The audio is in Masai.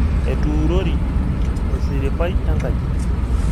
Etuurori esiripai engaji.